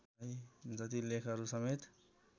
जति लेखहरूसमेत